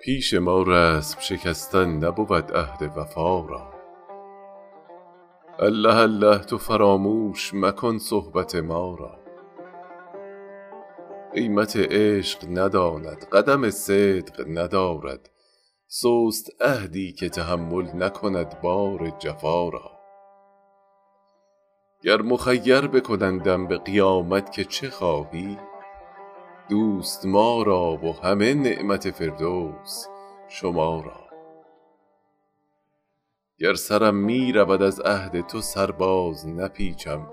پیش ما رسم شکستن نبود عهد وفا را الله الله تو فراموش مکن صحبت ما را قیمت عشق نداند قدم صدق ندارد سست عهدی که تحمل نکند بار جفا را گر مخیر بکنندم به قیامت که چه خواهی دوست ما را و همه نعمت فردوس شما را گر سرم می رود از عهد تو سر بازنپیچم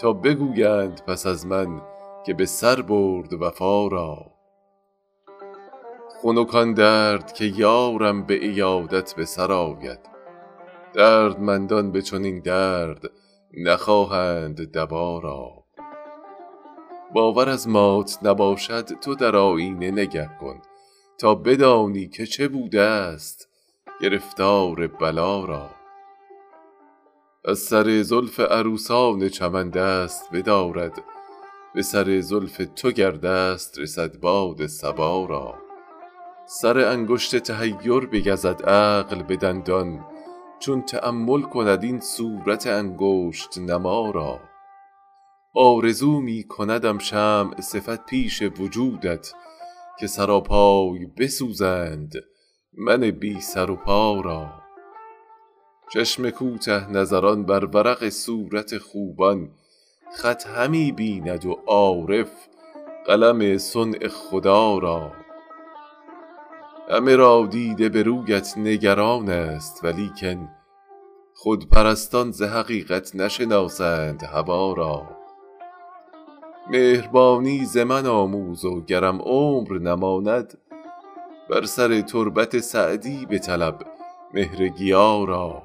تا بگویند پس از من که به سر برد وفا را خنک آن درد که یارم به عیادت به سر آید دردمندان به چنین درد نخواهند دوا را باور از مات نباشد تو در آیینه نگه کن تا بدانی که چه بودست گرفتار بلا را از سر زلف عروسان چمن دست بدارد به سر زلف تو گر دست رسد باد صبا را سر انگشت تحیر بگزد عقل به دندان چون تأمل کند این صورت انگشت نما را آرزو می کندم شمع صفت پیش وجودت که سراپای بسوزند من بی سر و پا را چشم کوته نظران بر ورق صورت خوبان خط همی بیند و عارف قلم صنع خدا را همه را دیده به رویت نگران ست ولیکن خودپرستان ز حقیقت نشناسند هوا را مهربانی ز من آموز و گرم عمر نماند به سر تربت سعدی بطلب مهرگیا را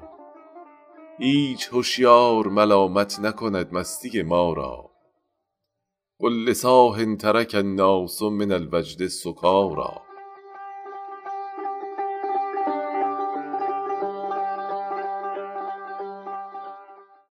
هیچ هشیار ملامت نکند مستی ما را قل لصاح ترک الناس من الوجد سکاریٰ